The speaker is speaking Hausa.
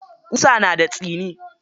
Ƙusa na da tsini.